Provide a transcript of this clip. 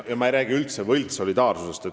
Ja ma ei räägi üldse võltssolidaarsusest.